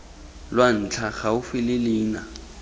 lwa ntlha gaufi le leina